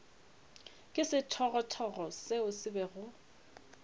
ke sethogothogo seo se bego